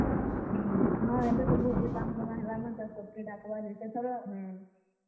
ହୁଁ, ଏବେ ତ ବହୁତ୍ ଟେ ସାଙ୍ଗ ସୁଙ୍ଗା ହେଲାନ ତାର୍ ସବ୍ କେ ଡାକ୍ ବା ଯେ ସେଥର।